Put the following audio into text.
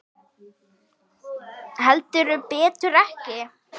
Heldur betur ekki.